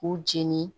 K'u jeni